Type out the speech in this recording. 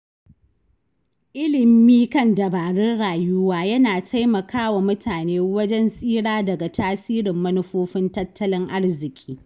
Ilimi kan dabarun rayuwa yana taimakawa mutane wajen tsira daga tasirin manufofin tattalin arziki.